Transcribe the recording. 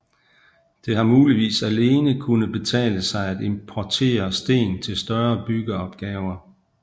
Det har muligvis alene kunnet betale sig at importere sten til større byggeopgaver